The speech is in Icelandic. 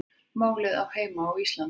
Málið á heima á Íslandi